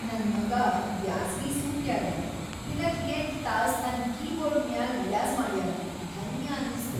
ನನ್‌ ಮಗಾ ಬ್ಯಾಸಗಿ ಸೂಟ್ಯಾಗ ದಿನಕ್‌ ೮ ತಾಸ್‌ ತನ್‌ ಕೀಬೋರ್ಡ್‌ ಮ್ಯಾಲ್‌ ರಿಯಾಜ಼್ ಮಾಡ್ಯಾನ, ಧನ್ಯ ಅನಸ್ತು.